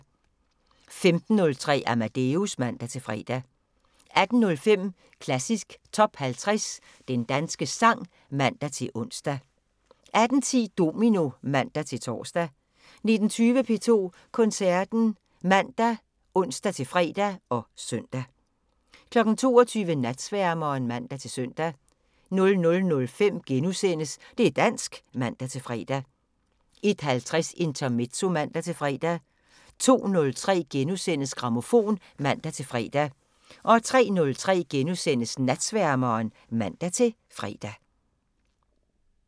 15:03: Amadeus (man-fre) 18:05: Klassisk Top 50 - Den danske sang (man-ons) 18:10: Domino (man-tor) 19:20: P2 Koncerten ( man, ons-fre, -søn) 22:00: Natsværmeren (man-søn) 00:05: Det' dansk *(man-fre) 01:50: Intermezzo (man-fre) 02:03: Grammofon *(man-fre) 03:03: Natsværmeren *(man-fre)